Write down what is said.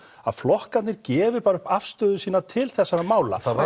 flokkarnir gefi bara upp afstöðu sína til þessara mála